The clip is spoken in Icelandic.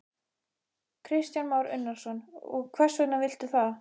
Kristján Már Unnarsson: Og hvers vegna viltu það?